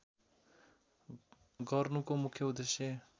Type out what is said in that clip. गर्नुको मुख्य उद्देश्य